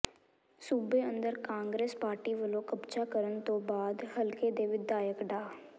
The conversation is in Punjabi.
ਸੂਬੇ ਅੰਦਰ ਕਾਂਗਰਸ ਪਾਰਟੀ ਵਲੋਂ ਕਬਜ਼ਾ ਕਰਨ ਤੋਂ ਬਾਅਦ ਹਲਕੇ ਦੇ ਵਿਧਾਇਕ ਡਾ